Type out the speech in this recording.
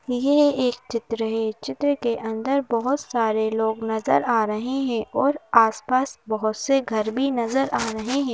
ये एक चित्र है चित्र के अंदर बहुत सारे लोग नज़र आ रहे हैं और आसपास बहुत से घर भी नज़र आ रहे हैं।